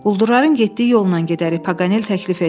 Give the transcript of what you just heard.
Quldurların getdiyi yolla gedərik, Paganel təklif etdi.